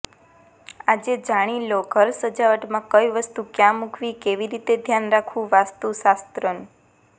આજે જાણી લો ઘર સજાવટમાં કઈ વસ્તુ ક્યાં મૂકવી કેવી રીતે ધ્યાન રાખવું વાસ્તુશાસ્ત્રનુ